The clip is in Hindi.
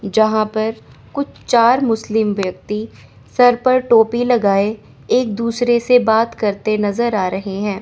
यहां पर कुछ चार मुस्लिम व्यक्ति सर पर टोपी लगाए एक दूसरे से बात करते नजर आ रहे हैं।